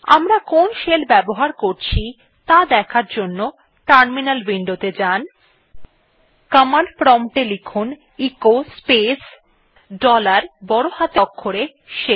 আমরা কোন শেল ব্যবহার করছি তা দেখার জন্য কমান্ড প্রম্পট এ লিখুন এচো স্পেস ডলার বড় হাতের অক্ষরে শেল